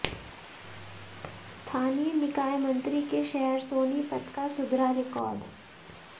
स्थानीय निकाय मंत्री के शहर सोनीपत का सुधरा रिकॉर्ड